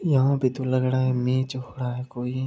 यहां पे तो लग रहा है मैच हो रहा है कोई --